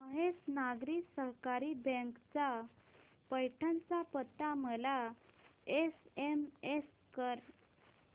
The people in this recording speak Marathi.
महेश नागरी सहकारी बँक चा पैठण चा पत्ता मला एसएमएस कर